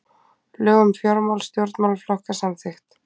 Lög um fjármál stjórnmálaflokka samþykkt